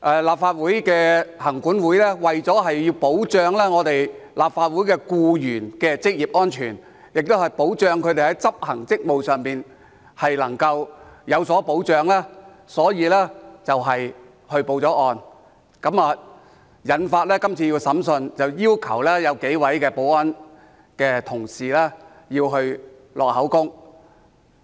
立法會行政管理委員會為了保障立法會僱員的職業安全，以及為了他們在執行職務時能夠有所保障，因此報案，引發今次的審訊，要求幾位保安同事錄取口供。